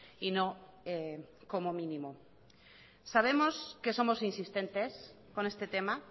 y no como mínimo sabemos que somos insistentes con este tema